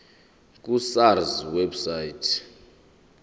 ku sars website